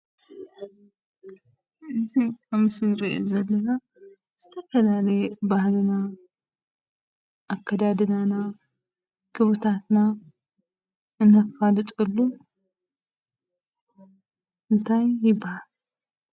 እዚ ኣብ ምስሊ እንሪኦ ዘለና ዝተፈላለየ ባህልና፣ ኣከዳድናና፣ ክብርታትና እነፋልጠሉ እንታይ ይብሃል?